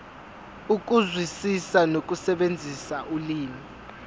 ukuzwisisa nokusebenzisa ulimi